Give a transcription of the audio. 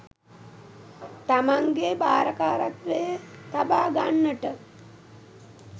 තමන්ගේ භාරකාරත්වයේ තබා ගන්නට